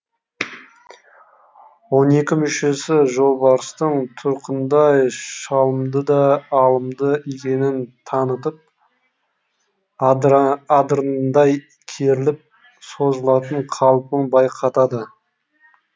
он екі мүшесі жолбарыстың тұрқындай шалымды да алымды екенін танытып адырнадай керіліп созылатын қалпын байқатады